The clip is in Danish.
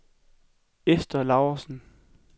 Ester Laursen